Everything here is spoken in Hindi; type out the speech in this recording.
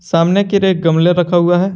सामने की गमले रखा हुआ है।